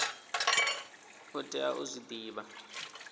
u tea u zwi divha